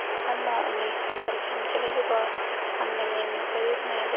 Ammo uning ham bir "kamchiligi" bor: hammagayam yoqavermaydi.